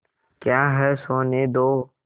क्या है सोने दो